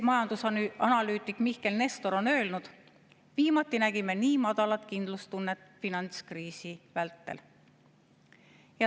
Majandusanalüütik Mihkel Nestor on öelnud, et viimati nägime nii madalat kindlustunnet finantskriisi vältel.